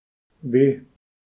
Bi.